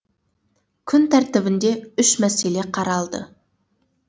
күн тәртібінде үш мәселе қаралды